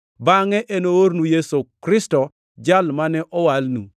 bangʼe enoornu Yesu Kristo, Jal mane owalnu.